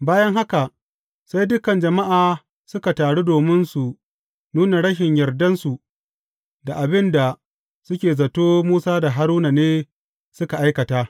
Bayan haka, sai dukan jama’a suka taru domin su nuna rashin yardansu da abin da suke zato Musa da Haruna ne suka aikata.